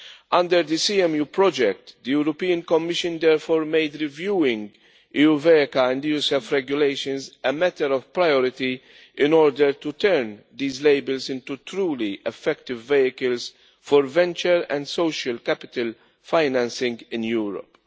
Under the CMU project, the European Commission therefore made reviewing EuVECA and EuSEF regulations a matter of priority in order to turn these labels into truly effective vehicles for venture and social capital financing in Europe.